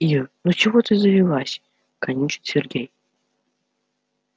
ир ну чего ты завелась канючит сергей